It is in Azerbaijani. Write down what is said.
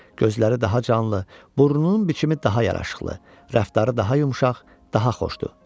Gözləri daha canlı, burnunun biçimi daha yaraşıqlı, rəftarı daha yumşaq, daha xoşdur.